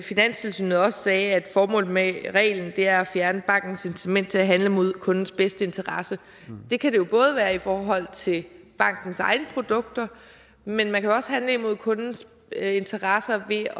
finanstilsynet også sagde at formålet med reglen er at fjerne bankens incitament til at handle mod kundens bedste interesse det kan det jo både være i forhold til bankens egne produkter men man kan også handle imod kundens interesser ved